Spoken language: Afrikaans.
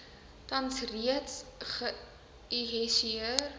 tans reeds geihisieer